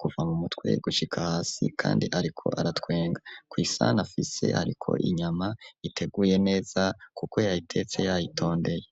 kuva mu mutwe gucika hasi kandi ariko aratwenga ku isana afise ariko inyama iteguye neza kuko yayitetse yayitondeye.